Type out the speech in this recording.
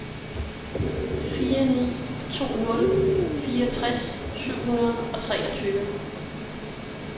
fire ni to nul fireogtres syv hundrede og treogtyve